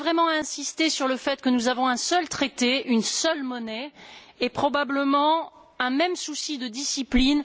Je tiens à insister sur le fait que nous avons un seul traité, une seule monnaie et probablement un même souci de discipline.